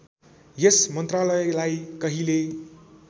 यस मन्त्रालयलाई कहिले